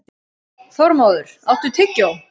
Þormóður, áttu tyggjó?